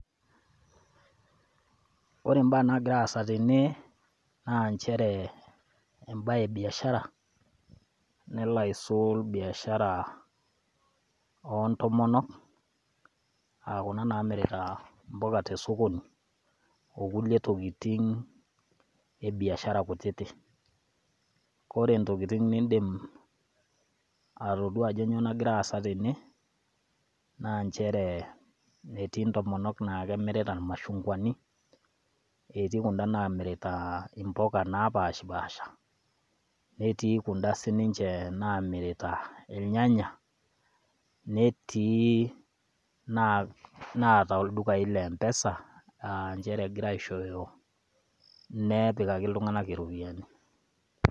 Ore imbaa naagira aasa tene naa enjere embae e biashara nelo aisul aa biashara o ntomonok, aaku kuna naamirita imbuka te sokoni o kulie tokitin e biashara kutiti. Kore intokitin niindim atodua ajo kainyoo nagira aasa tene, naa nchere etii intomonok naa kemirita ilmashungwani , etii kunda naamirita imbuga naapashipasha, netii kund sii ninche naamirita ilnyanya, netii naata ildukai le empesa aa nchere egira aaishooyo, nepikaki iltung'ana iropiani.